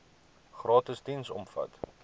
gratis diens omvat